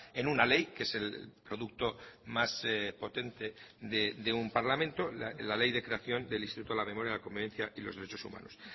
en una ley que es el producto más potente de un parlamento la ley de creación del instituto de la memoria la convivencia y los derechos humanos